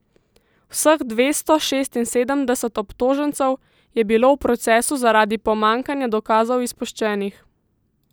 Vseh dvesto šestinsedemdeset obtožencev je bilo v procesu zaradi pomanjkanja dokazov izpuščenih.